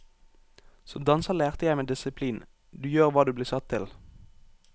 Som danser lærte jeg meg disiplin, du gjør hva du blir satt til.